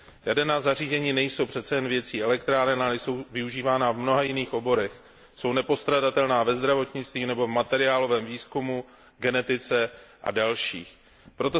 Jaderná zařízení nejsou přece jen věcí elektráren, ale jsou využívána v mnoha jiných oborech, jsou nepostradatelná ve zdravotnictví nebo v materiálovém výzkumu, genetice a dalších oblastech.